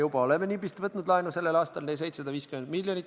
See kõlab nagu Euroopa Liit, nagu ESM – sellised räiged asjad.